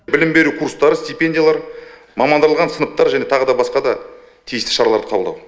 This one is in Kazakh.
білім беру курстары стипендиялар мамандырылған сыныптар тағы да басқа да тиісті шаралар қабылдау